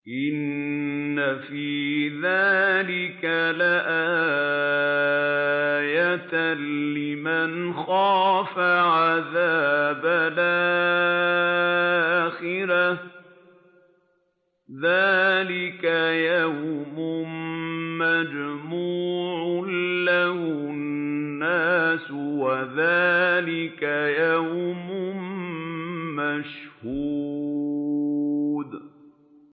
إِنَّ فِي ذَٰلِكَ لَآيَةً لِّمَنْ خَافَ عَذَابَ الْآخِرَةِ ۚ ذَٰلِكَ يَوْمٌ مَّجْمُوعٌ لَّهُ النَّاسُ وَذَٰلِكَ يَوْمٌ مَّشْهُودٌ